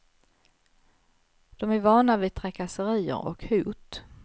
De är vana vid trakasserier och hot.